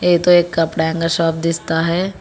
ये तो एक कपड़ा का शॉप दिखता है।